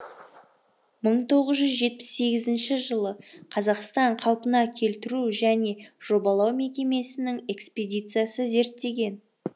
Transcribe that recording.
мың тоғыз жүз жетпіс сегізінші жылы қазақстан қалпына келтіру және жобалау мекемесінің экспедициясы зерттеген